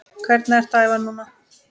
Hvernig ertu að æfa núna?